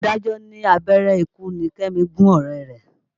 Adájọ́ ní abẹ́rẹ́ ikú ni Kẹ́mi gún ọ̀rẹ́ rẹ̀.